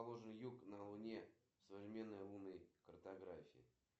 сбер твое имя аниме две тысячи шестнадцать